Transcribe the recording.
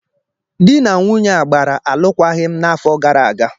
Di na nwunye a gbara alụkwaghịm n'afọ gara aga.